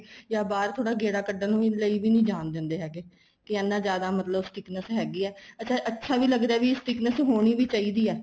ਜਾਂ ਬਾਹਰ ਥੋੜਾ ਗੇੜਾ ਕੱਢਣ ਲਈ ਵੀ ਜਾਣ ਦਿੰਦੇ ਹੈਗੇ ਕੀ ਐਨਾ ਜਿਆਦਾ ਮਤਲਬ sickness ਹੈਗੀ ਆ ਅੱਛਾ ਅੱਛਾ ਵੀ ਲੱਗਦਾ ਹੈ ਵੀ sickness ਹੋਣੀ ਵੀ ਚਾਹੀਦੀ ਏ